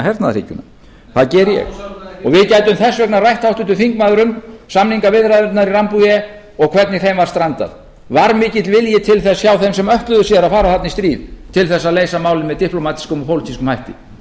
hernaðarhyggjuna það geri ég við gætum þess vegna rætt háttvirtur þingmaður um samningaviðræðurnar í og hvernig þeim var strandað var mikill vilji til þess hjá þeim sem ætluðu sér að fara þarna í stríð til þess að leysa málið með diplómatískum og pólitískum hætti